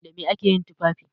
Da me ake yin tufafi?